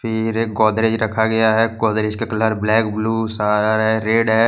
फिर एक गोदरेज रखा गया है गोदरेज का कलर ब्लैक ब्लू रेड है।